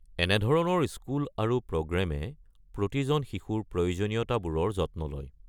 এনেধৰণৰ স্কুল আৰু প্ৰগ্ৰামে প্ৰতিজন শিশুৰ প্ৰয়োজনীয়তাবোৰৰ যত্ন লয়।